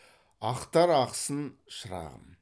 ақтар ақсын шырағым